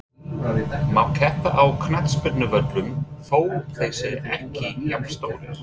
Má keppa á knattspyrnuvöllum þó þeir séu ekki jafnstórir?